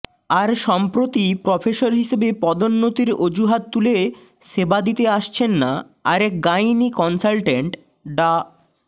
আর সম্প্রতি প্রফেসর হিসেবে পদোন্নতির অজুহাত তুলে সেবা দিতে আসছেন না আরেক গাইনি কনসালটেন্ট ডা